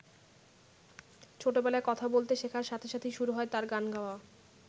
ছোটবেলায় কথা বলতে শেখার সাথে সাথেই শুরু হয় তাঁর গান গাওয়া।